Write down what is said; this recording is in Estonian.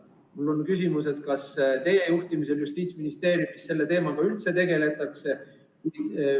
Mul on küsimus: kas teie juhtimisel Justiitsministeeriumis selle teemaga üldse tegeldakse?